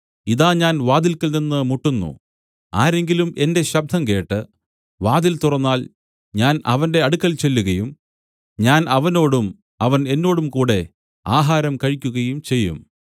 ഇതാ ഞാൻ വാതില്ക്കൽ നിന്നു മുട്ടുന്നു ആരെങ്കിലും എന്റെ ശബ്ദം കേട്ട് വാതിൽ തുറന്നാൽ ഞാൻ അവന്റെ അടുക്കൽ ചെല്ലുകയും ഞാൻ അവനോടും അവൻ എന്നോടും കൂടെ ആഹാരം കഴിക്കുകയും ചെയ്യും